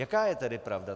Jaká je tedy pravda?